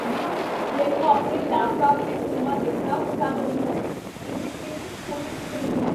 you ਮੈਨੂੰ ਆਪਣੇ laptop 'ਤੇ ਫ਼ਿਲਮਾਂ ਦੇਖਣਾ ਪਸੰਦ ਨਹੀਂ ਹੈ ਇਹ ਕਿੰਨੀ ਛੋਟੀ ਸਕਰੀਨ ਹੈ